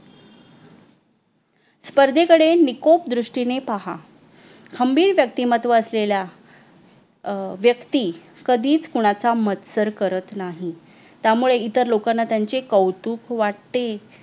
स्पर्धेकडे निकोप दृष्टीने पहा खंबीर व्यक्तिमत्व असलेल्या अह व्यक्ती कधीच कुणाचा मत्सर करत नाही त्यामुळे इतर लोकांना त्यांचे कौतुक वाटते